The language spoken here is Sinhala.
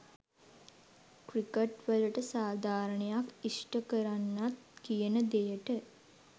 ක්‍රිකට්වලට සාධාරණයක් ඉෂ්ට කරන්නත් කියන දෙයට.